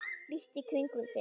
líttu í kringum þig